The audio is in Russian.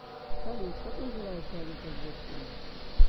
салют как называется валюта в ботсване